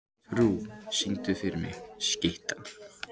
Trú, syngdu fyrir mig „Skyttan“.